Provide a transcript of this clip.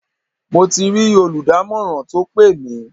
Mo ti rí olùdámọ̀ràn tó pè mí.